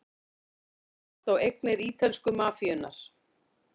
Hald lagt á eignir ítölsku mafíunnar